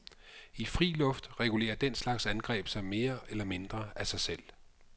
I fri luft regulerer den slags angreb sig mere eller mindre af sig selv.